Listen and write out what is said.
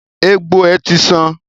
Egbò è ti san